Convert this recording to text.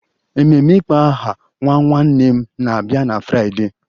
Ememe ịkpọ aha nwa nwanne m na-abịa na Fraịdee